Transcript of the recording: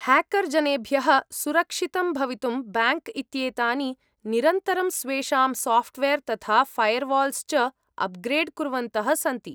Hacker जनेभ्यः सुरक्षितं भवितुं ब्याङ्क् इत्येतानि निरन्तरं स्वेषां साफ्ट्वेर् तथा फैर्वाल्स् च उप्ग्रेड् कुर्वन्तः सन्ति।